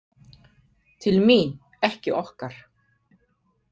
Til mín, ekki okkar.